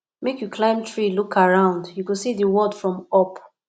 make you climb tree look around you go see di world from up